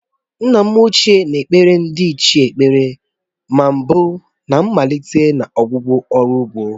Nna m ochié na-ekpere ndiichie ekpere na mbụ na mmalite na ọgwụgwụ ọrụ ugbo.